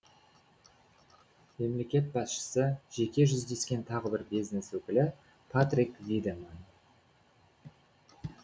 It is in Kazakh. мемлекет басшысы жеке жүздескен тағы бір бизнес өкілі патрик видеманн